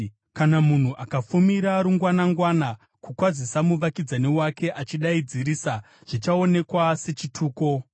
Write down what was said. Kana munhu akafumira rungwanangwana kukwazisa muvakidzani wake achidaidzirisa zvichaonekwa sechituko.